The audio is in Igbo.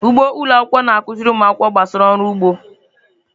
Ugbo ụlọ akwụkwọ na-akụziri ụmụ akwụkwọ gbasara ọrụ ugbo.